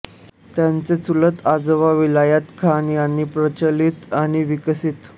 त्यांचे चुलत आजोबा विलायत खान यांनी प्रचलित आणि विकसित